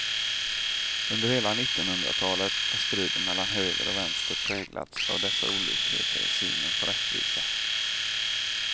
Under hela nittonhundratalet har striden mellan höger och vänster präglats av dessa olikheter i synen på rättvisa.